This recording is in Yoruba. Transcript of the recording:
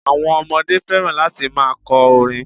Àwon ọmọdé fẹ́ràn láti ma kọ orin